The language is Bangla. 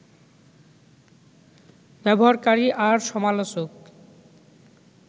ব্যবহারকারী আর সমালোচক